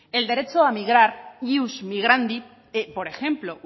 el derecho a migrar ius migrandi por ejemplo